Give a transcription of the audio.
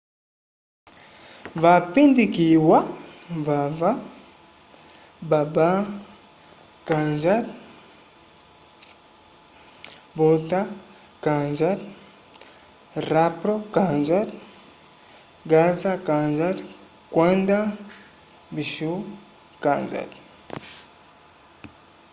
vapindikiwa vava baba kanjar bhutha kanjar rampro kanjar gaza kanjar kwenda vishnu kanjar